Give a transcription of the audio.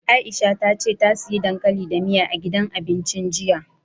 Aisha ta ce ta siya dankali da miya, a gidan abincin jiya.